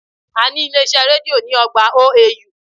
A ní ilé iṣẹ́ rédío ní ọgbà OAU